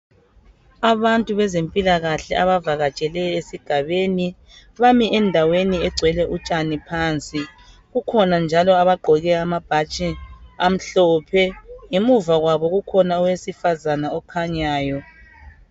Abantu bezempilakahle abavakatshele esigabeni bami endaweni egcwele utshani phansi kukhona njalo abagqoke amabhatshi amhlophe emuva kwabo ukkhona owesifazana okhanyayo.